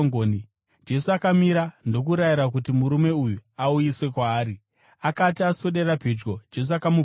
Jesu akamira ndokurayira kuti murume uyu auyiswe kwaari. Akati aswedera pedyo, Jesu akamubvunza akati,